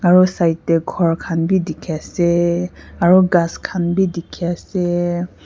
aro side dae ghor khan bhi dekhe ase aro ghas khan bhi dekhe ase.